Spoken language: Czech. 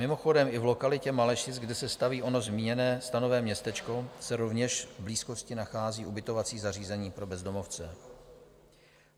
Mimochodem, i v lokalitě Malešic, kde se staví ono zmíněné stanové městečko, se rovněž v blízkosti nachází ubytovací zařízení pro bezdomovce.